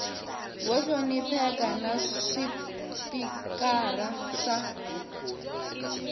vo hlonipheka na swipikara swa